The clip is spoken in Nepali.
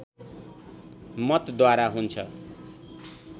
मतद्वारा हुन्छ